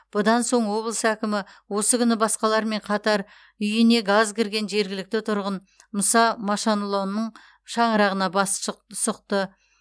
бұдан соң облыс әкімі осы күні басқалармен қатар үйіне газ кірген жергілікті тұрғын мұса машанлоның шаңырағына бас шы сұқты